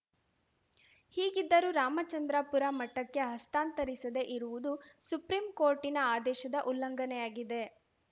ಹೀಗಿದ್ದರೂ ರಾಮಚಂದ್ರಾಪುರ ಮಠಕ್ಕೆ ಹಸ್ತಾಂತರಿಸದೆ ಇರುವುದು ಸುಪ್ರೀಂಕೋರ್ಟಿನ ಆದೇಶದ ಉಲ್ಲಂಘನೆಯಾಗಿದೆ